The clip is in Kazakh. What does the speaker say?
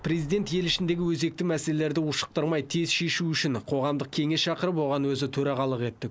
президент ел ішіндегі өзекті мәселелерді ушықтырмай тез шешу үшін қоғамдық кеңес шақырып оған өзі төрағалық етті